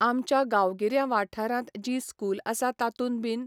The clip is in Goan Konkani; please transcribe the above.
आमच्या गांवगिऱ्या वाठरांत जीं स्कूल आसा तातूंत बीन